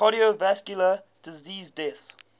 cardiovascular disease deaths